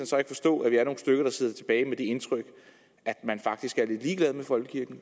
så ikke forstå at vi er nogle stykker der sidder tilbage med det indtryk at man faktisk er lidt ligeglad med folkekirken